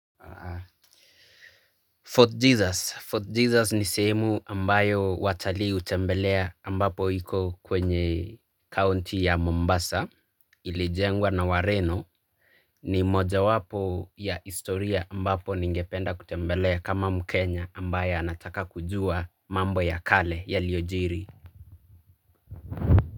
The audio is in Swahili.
Fort Jesus ni sehemu ambayo watalii hutembelea ambapo iko kwenye kaunti ya Mombasa ilijengwa na wareno, ni moja wapo ya historia ambapo ningependa kutembelea kama mkenya ambaye anataka kujua mambo ya kale yaliyojiri.